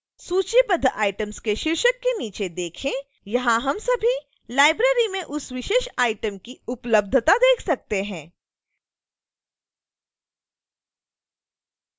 सूचीबद्ध items के शीर्षक के नीचे देखें यहां हम सभी लाइब्रेरी में उस विशेष आइटम की उपलब्धता देख सकते हैं